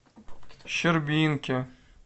щербинки